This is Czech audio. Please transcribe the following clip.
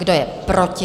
Kdo je proti?